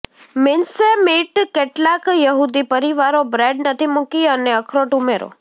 mincemeat કેટલાક યહૂદી પરિવારો બ્રેડ નથી મૂકી અને અખરોટ ઉમેરો